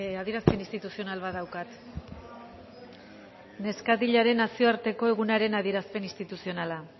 adierazpen instituzional bat daukat neskatilaren nazioarteko egunaren adierazpen instituzionala